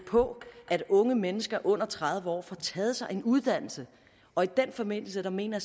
på at unge mennesker under tredive år får taget sig en uddannelse og i den forbindelse mener